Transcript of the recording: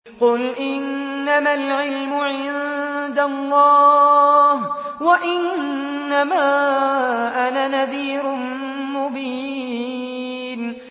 قُلْ إِنَّمَا الْعِلْمُ عِندَ اللَّهِ وَإِنَّمَا أَنَا نَذِيرٌ مُّبِينٌ